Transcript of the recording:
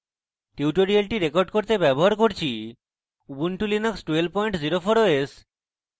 এই tutorial record করতে আমি ব্যবহার করছি ubuntu linux 1204 os